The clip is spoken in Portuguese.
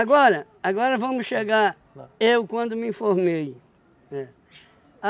agora vamos chegar, eu quando me formei. É.